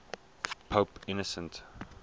pope innocent